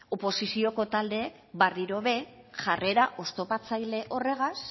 oposizioko taldeek berriro ere jarrera oztopatzaile horregaz